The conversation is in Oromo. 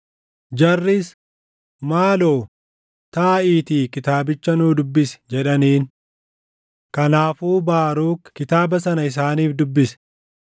Jarris, “Maaloo, taaʼiitii kitaabicha nuu dubbisi” jedhaniin. Kanaafuu Baaruk kitaaba sana isaaniif dubbise.